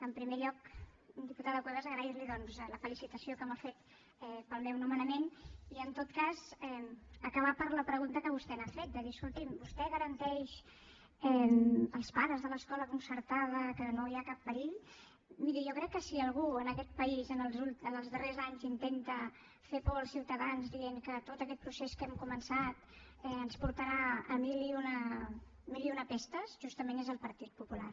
en primer lloc diputada cuevas agrair li doncs la felicitació que m’ha fet pel meu nomenament i en tot cas acabar per la pregunta que vostè m’ha fet de dir escolti’m vostè garanteix als pares de l’escola concertada que no hi ha cap perill miri jo crec que si algú en aquest país en els darrers anys intenta fer por als ciutadans dient que tot aquest procés que hem començat ens portarà a mil i una pestes justament és el partit popular